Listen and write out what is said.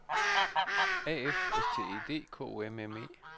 A F S T E D K O M M E